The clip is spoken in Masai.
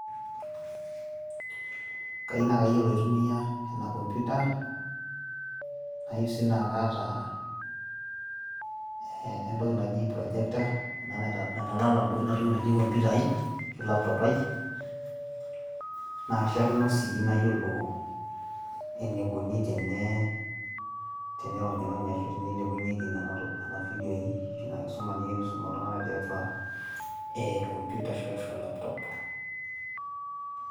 kayieu naa kayiolo atumia ena computer, ayieu naa kaata entoki naaji projector naitalala duo computer ai ashu laptop nakishakino sii nayiolo enikoni teneironyi ashu enikoni tenilepunyieki nena video ashu ina kisuma enikoni tenei sumi iltung'anak computer ashu laptop.